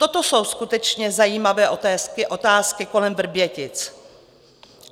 Toto jsou skutečně zajímavé otázky kolem Vrbětic.